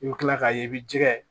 I bɛ kila k'a ye i bɛ jɛgɛ